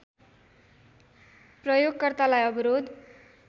प्रयोगकर्तालाई अवरोध